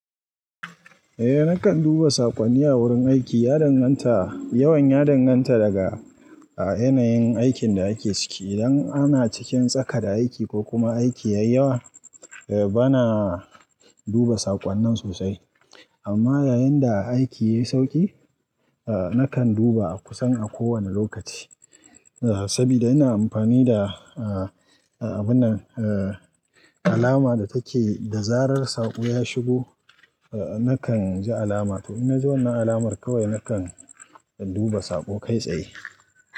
Eh nakan duba sakwanni a wurin aiki, ya danganta, yawan ya danganta daga a yanayin aikin da ake ciki. Idan ana cikin tsaka da aiki ko kuma aiki yayi yawa, eh bana duba sakwannin sosai. Amma yayin da aiki yayi sauƙi, eh nakan duba a kusan a ko wanne lokaci. Sabida ina amfani da eh abun nan, eh alama da take da zarar saƙo ya shigo, nakan ji alama. To in na ji wannan alamar kawai nakan duba saƙo kai tsaye.